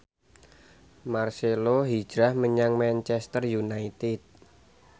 marcelo hijrah menyang Manchester united